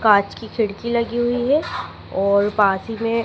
कांच की खिड़की लगी हुई है और पास ही में--